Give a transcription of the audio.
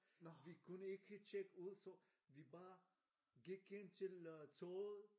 vi kunne ikke tjekke ud så vi bare gik ind til øh toget